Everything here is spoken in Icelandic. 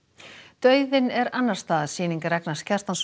dauðinn er annars staðar sýning Ragnars Kjartanssonar